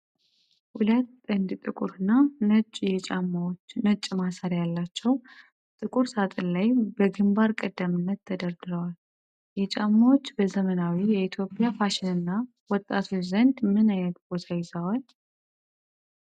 ሁለት ጥንድ ጥቁር እና ነጭ የ Converse All-Star ጫማዎች፣ ነጭ ማሰሪያ ያላቸው፣ ጥቁር ሣጥን ላይ በግንባር ቀደምትነት ተደርድረዋል። የ Converse ጫማዎች በዘመናዊ የኢትዮጵያ ፋሽንና ወጣቶች ዘንድ ምን ዓይነት ቦታ ይዘዋል?